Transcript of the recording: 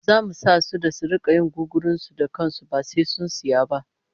Zamu sa su da su rika yin gugurun su da kan su ba sai sun saya ba